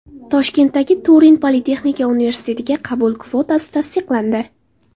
Toshkentdagi Turin politexnika universitetiga qabul kvotasi tasdiqlandi.